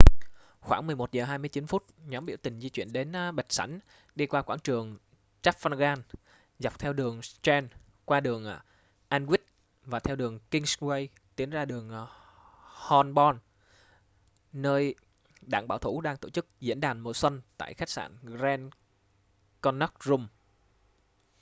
khoảng 11 giờ 29 phút nhóm biểu tình di chuyển đến bạch sảnh đi qua quảng trường trafalgar dọc theo đường strand qua đường aldwych và theo đường kingsway tiến ra đường holborn nơi đảng bảo thủ đang tổ chức diễn đàn mùa xuân tại khách sạn grand connaught rooms